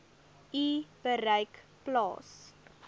u bereik plaas